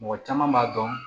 Mɔgɔ caman b'a dɔn